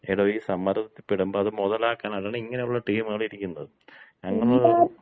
എടോ, ഈ സമ്മർദത്തിപ്പെടുമ്പ അത് മുതലാക്കാനാണ് ഇങ്ങനെയുള്ള ടീമുകള് ഇരിക്കുന്നത്. അങ്ങനുള്ള